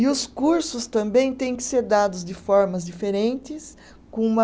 E os cursos também têm que ser dados de formas diferentes, com uma...